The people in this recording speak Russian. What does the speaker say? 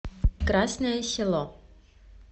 красное село